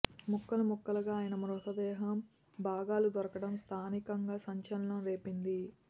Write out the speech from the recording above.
ముక్కలు ముక్కలుగా ఆయన మృతదేహం భాగాలు దొరకడం స్థానికంగా సంచలనం రేపింది